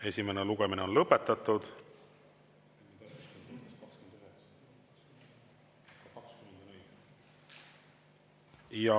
Esimene lugemine on lõpetatud.